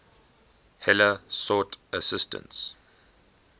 heller sought assistance